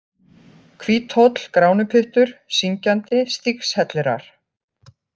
Hvíthóll, Gránupyttur, Syngjandi, Stígshellirar